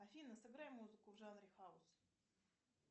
афина сыграй музыку в жанре хаус